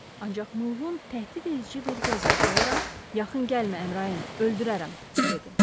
Ancaq Mılğon təhdidedici bir vəziyyət alaraq, yaxın gəlmə, Əmrayin, öldürərəm, dedi.